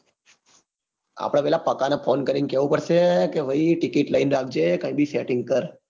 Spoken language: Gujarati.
આપડે પેલા પાકને કાઇને રાખવું પડશે કે ભાઈ તું ticket લઈને રાખજે તું કાંઈ બી setting કર. .